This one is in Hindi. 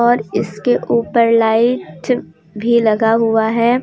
और इसके ऊपर लाइट भी लगा हुआ है।